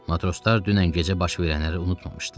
Matroslar dünən gecə baş verənləri unutmamışdılar.